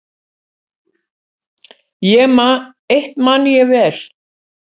Eitt man ég vel.